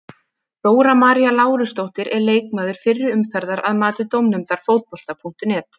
Dóra María Lárusdóttir er leikmaður fyrri umferðar að mati dómnefndar Fótbolta.net.